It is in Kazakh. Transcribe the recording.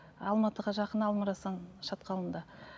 алматыға жақын алма арасан шатқалында